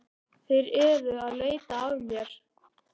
Þeir eru að leita að mér